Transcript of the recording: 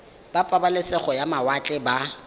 ba pabalesego ya mawatle ba